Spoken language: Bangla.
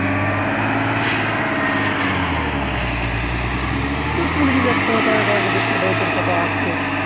photo, তোর photo আছেও